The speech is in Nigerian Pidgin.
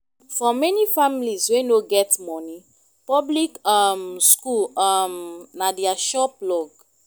for many families wey no get money public um school um na their sure plug